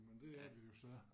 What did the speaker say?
Men det er vi jo så